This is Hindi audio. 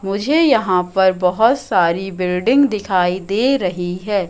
मुझे यहां पर बहोत सारी बिल्डिंग दिखाई दे रही है।